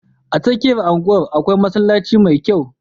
A tsakiyar kasuwar akwai masallaci mai kyau.